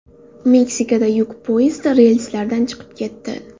Meksikada yuk poyezdi relslardan chiqib ketdi.